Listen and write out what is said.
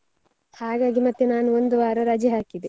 ಹಾಗಾಗಿ ಮತ್ತೆ ನಾನು ಒಂದು ವಾರ ರಜೆ ಹಾಕಿದೆ.